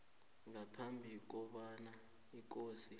ngaphambi kobana ikosi